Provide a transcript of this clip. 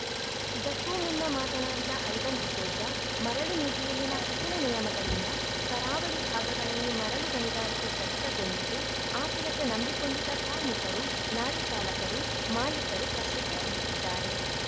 ಇದಕ್ಕೂ ಮುನ್ನ ಮಾತನಾಡಿದ ಐವನ್‌ ಡಿಸೋಜ ಮರಳು ನೀತಿಯಲ್ಲಿನ ಕಠಿಣ ನಿಯಮಗಳಿಂದ ಕರಾವಳಿ ಭಾಗಗಳಲ್ಲಿ ಮರಳು ಗಣಿಗಾರಿಕೆ ಸ್ಥಗಿತಗೊಂಡಿದ್ದು ಆ ಕೆಲಸ ನಂಬಿಕೊಂಡಿದ್ದ ಕಾರ್ಮಿಕರು ಲಾರಿ ಚಾಲಕರು ಮಾಲೀಕರು ಕಷ್ಟಕ್ಕೆ ಸಿಲುಕಿದ್ದಾರೆ